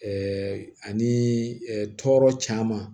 Ɛɛ ani tɔɔrɔ caman